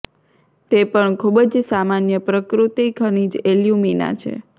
તે પણ ખૂબ જ સામાન્ય પ્રકૃતિ ખનિજ એલ્યુમિના છે